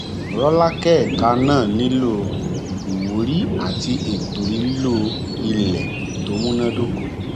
rọlákẹ ẹka náà nílò ìwúrí àti ètò lílo ilẹ tó múná dóko